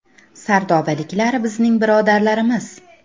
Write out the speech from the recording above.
“Sardobaliklar bizning birodarlarimiz.